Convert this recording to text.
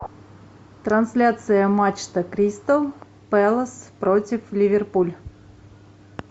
трансляция матча кристал пэлас против ливерпуль